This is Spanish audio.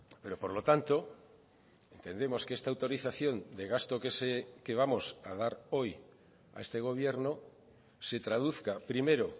pero por lo tanto entendemos que esta autorización de gasto que vamos a dar hoy a este gobierno se traduzca primero